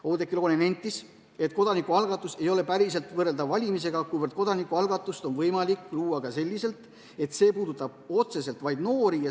Oudekki Loone nentis, et kodanikualgatus ei ole päriselt võrreldav valimisega, kuivõrd kodanikualgatust on võimalik luua ka selliselt, et see puudutab otseselt vaid noori.